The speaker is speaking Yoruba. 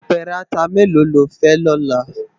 Apèrè àtá méló ló fè lòlá?